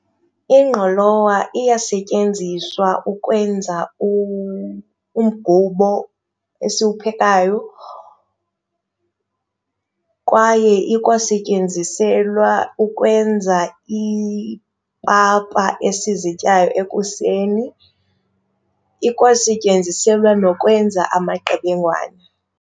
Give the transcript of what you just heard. Ingqolowa iyasetyenziswa ukwenza umgubo esiwuphekayo kwaye ikwasetyenziselwa ukwenza ipapa esizityayo ekuseni, ikwasetyenziselwa nokwenza amaqebengwana.